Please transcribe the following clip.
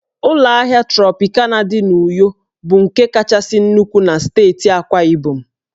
Ụlọ ahịa Trọpịkana dị n'Uyo bụ nke kachasị nnukwu na steeti Akwa Ibom